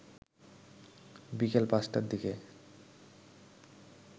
বিকেল ৫টার দিকে